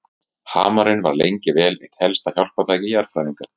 Hamarinn var lengi vel eitt helsta hjálpartæki jarðfræðinga.